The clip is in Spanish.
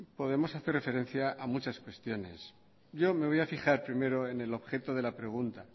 podemos hacer referencia a muchas cuestiones yo me voy a fijar primero en el objeto de la pregunta